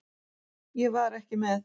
Ég var ekki með.